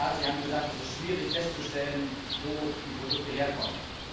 Herr Kommissar, sie haben gesagt, es ist schwierig festzustellen, wo die Produkte herkommen.